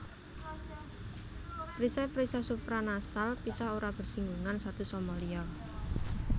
Perisai perisai supranasal pisah ora bersing gungan satu sama liya